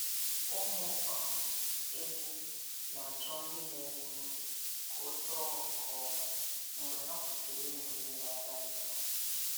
Ụmụ um ehi na-achọ nri na-enye ume ka o too nke ọma mgbe ha kwusịrị ịnụ mmiri ara nne ha.